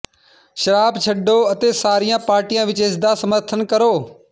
ਸ਼ਰਾਬ ਛੱਡੋ ਅਤੇ ਸਾਰੀਆਂ ਪਾਰਟੀਆਂ ਵਿਚ ਇਸਦਾ ਸਮਰਥਨ ਕਰੋ